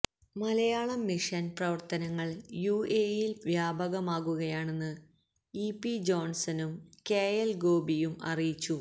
Malayalam mission പ്രവര്ത്തനങ്ങള് യുഎഇയിൽ വ്യാപകമാകുകയാണെന്ന് ഇ പി ജോൺസനും കെ എൽ ഗോപിയും അറിയിച്ചു